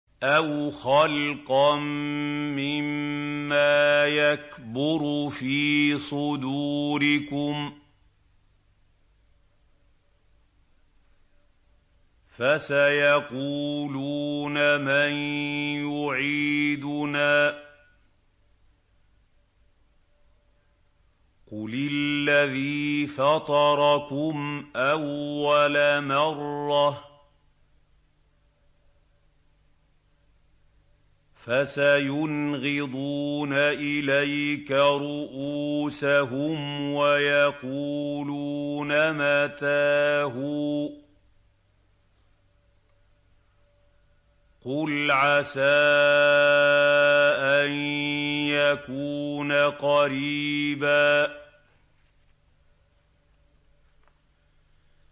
أَوْ خَلْقًا مِّمَّا يَكْبُرُ فِي صُدُورِكُمْ ۚ فَسَيَقُولُونَ مَن يُعِيدُنَا ۖ قُلِ الَّذِي فَطَرَكُمْ أَوَّلَ مَرَّةٍ ۚ فَسَيُنْغِضُونَ إِلَيْكَ رُءُوسَهُمْ وَيَقُولُونَ مَتَىٰ هُوَ ۖ قُلْ عَسَىٰ أَن يَكُونَ قَرِيبًا